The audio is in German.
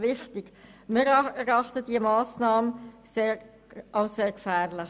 Wir erachten diese Massnahme als sehr gefährlich.